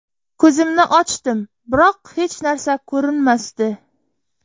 Ko‘zimni ochdim, biroq hech narsa ko‘rinmasdi.